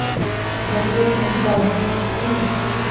запретное царство включи мне